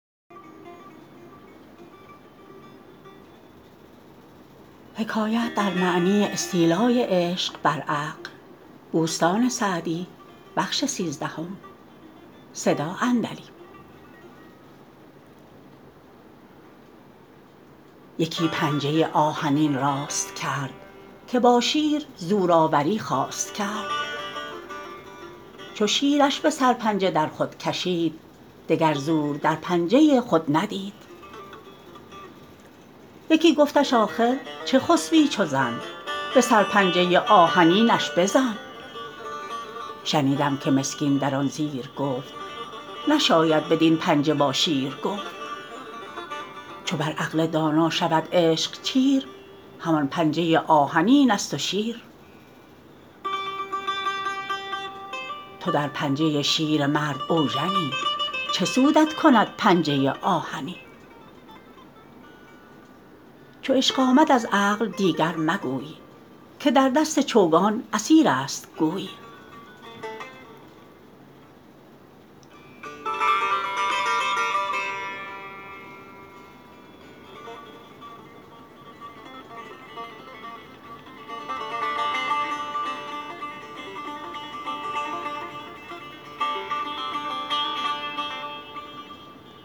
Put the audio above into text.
یکی پنجه آهنین راست کرد که با شیر زورآوری خواست کرد چو شیرش به سرپنجه در خود کشید دگر زور در پنجه خود ندید یکی گفتش آخر چه خسبی چو زن به سرپنجه آهنینش بزن شنیدم که مسکین در آن زیر گفت نشاید بدین پنجه با شیر گفت چو بر عقل دانا شود عشق چیر همان پنجه آهنین است و شیر تو در پنجه شیر مرد اوژنی چه سودت کند پنجه آهنی چو عشق آمد از عقل دیگر مگوی که در دست چوگان اسیر است گوی